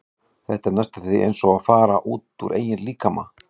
Þetta er næstum því eins og að fara út úr eigin líkama.